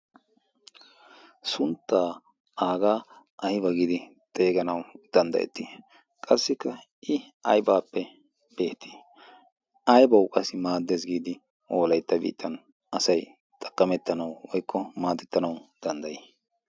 sunttaa aagaa ayba giidi xeeganawu danddayettii qassikka i aybaappe beetii aybawu qassi maaddes giidi wolaytta biitan asay xaqqamettanayu wykko maadettanawu danddayii